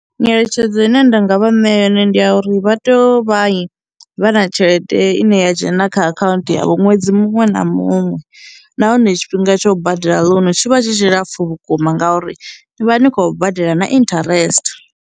Nyeletshedzo ine nda nga vha ṋea yone ndi ya uri vha teya u vha vha na tshelede ine ya dzhena kha akhaunthu ya ṅwedzi muṅwe na muṅwe, nahone tshifhinga tsho badela loan tshi vha tshi tshilapfhu vhukuma ngauri ni vha ni khou badela na interest.